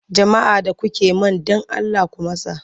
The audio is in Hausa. Jama'a da kuke man don Allah ku matsa!